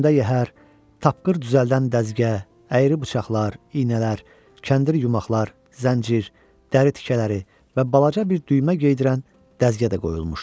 Üstündə yəhər, tapqır düzəldən dəzgəh, əyri bıçaqlar, iynələr, kəndir yumaklar, zəncir, dəri tikələri və balaca bir düymə geydirən dəzgə də qoyulmuşdu.